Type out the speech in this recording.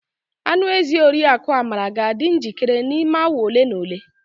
Anụ ezi oriakụ Amara ga-adị njikere n'ime awa ole na ole.